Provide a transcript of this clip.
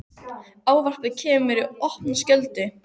Ávarpið kemur mér í opna skjöldu.